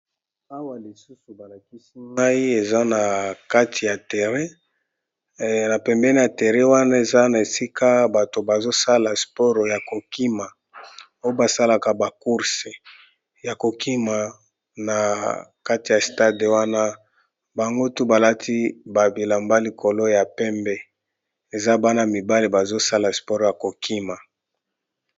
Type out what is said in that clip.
Awa lisusu balakisi ngai nakati ya terrain na pembene ya terre wana eza na esika bato bazosala sports ya kokima oyo basalaka ba course ya kokima na kati ya stade wana bango tout balati ba bilamba likolo ya pembe eza bana mibale bazosala spore ya kokima